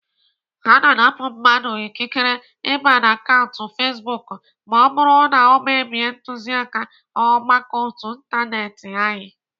Ana anapụ mmadụ ikikere ịba na akaụntụ fezbuk ma ọ bụrụ na ọ mebie ntuziaka ọgbakọ ótú ịntanetị anyị